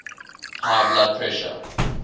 high blood pressure